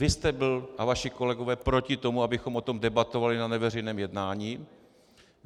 Vy jste byl a vaši kolegové proti tomu, abychom o tom debatovali na neveřejném jednání.